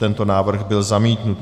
Tento návrh byl zamítnut.